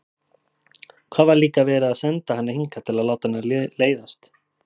Hvað var líka verið að senda hana hingað til að láta henni leiðast?